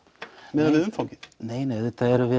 miðað við umfangið nei nei